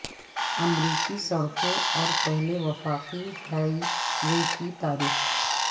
امریکی سڑکوں اور پہلے وفاقی ہائی وے کی تاریخ